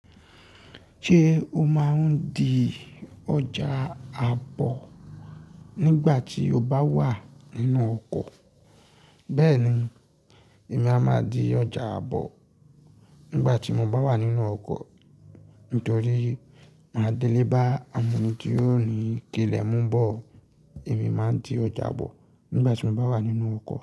Ṣé o máa ń di ọjà àbọ̀ nígbà tí o bá wà nínú ọkọ̀? Bẹ́ẹ̀ni, èmi a máa di ọjà àbọ̀ nígbà tí mo bá wà nínú ọkọ̀. Nitori maa dele awon eni ti o ni kile mu bo. Èmi máa ń di ọjà àbọ̀ nígbà tí mo bá wà nínú ọkọ̀